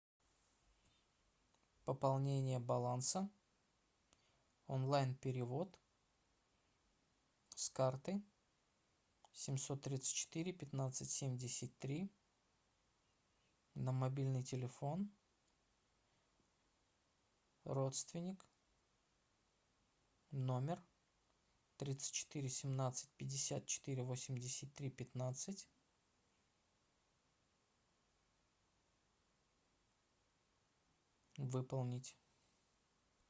пополнение баланса онлайн перевод с карты семьсот тридцать четыре пятнадцать семьдесят три на мобильный телефон родственник номер тридцать четыре семнадцать пятьдесят четыре восемьдесят три пятнадцать выполнить